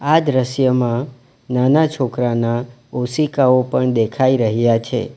આ દૃશ્યમાં નાના છોકરાના ઓશીકાઓ પણ દેખાઈ રહ્યા છે.